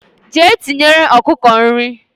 Jee tinyere okuku nri